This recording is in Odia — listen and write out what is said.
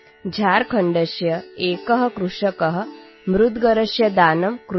ଝାଡ଼ଖଣ୍ଡର ଜଣେ କୃଷକ ଗୋଟିଏ ମୁଦଗର ଦାନ କରିଥିଲେ